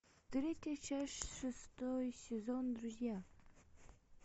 третья часть шестой сезон друзья